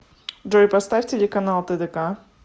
джой поставь телеканал тдк